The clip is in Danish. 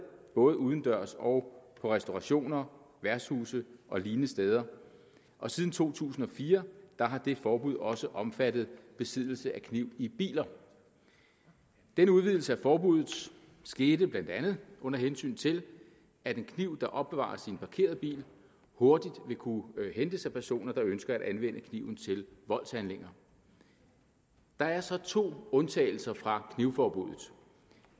både udendørs og på restaurationer værtshuse og lignende steder og siden to tusind og fire har det forbud også omfattet besiddelse af kniv i biler denne udvidelse af forbuddet skete blandt andet under hensyn til at en kniv der opbevares i en parkeret bil hurtigt vil kunne hentes af personer der ønsker at anvende kniven til voldshandlinger der er så to undtagelser fra knivforbuddet